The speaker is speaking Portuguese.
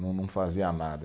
Não não fazia nada.